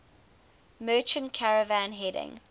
merchant caravan heading